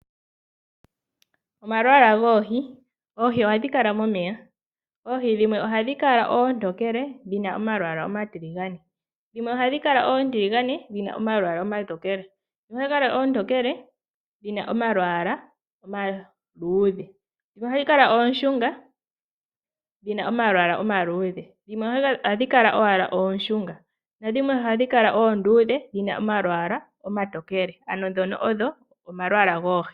Omalwaala goohi. Oohi ohadhi kala momeya. Oohi dhimwe ohadhi kala oontokele dhi na omalwaala omatiligane, dhimwe ohadhi kala oontiligane dhi na omalwaala omatokele, dhimwe ohadhi kala oontokele dhina omalwaala omaluudhe, dhimwe ihadhi kala oonshunga dhi na omalwaala omaluudhe , dhimwe ohadhi kala owala oonshunga nadhimwe ohadhi kala oonduudhe dhi na omalwaala omatokele. Ano ndhono odho omalwaala goohi.